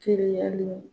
Teriyali